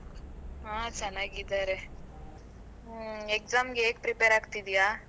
ಹಾ ಚೆನ್ನಾಗಿದ್ದಾರೆ, ಹ್ಮ exam ಗೆ ಹೇಗ್ prepare ಆಗ್ತಿದ್ದೀಯಾ?